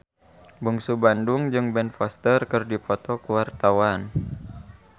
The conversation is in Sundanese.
Bungsu Bandung jeung Ben Foster keur dipoto ku wartawan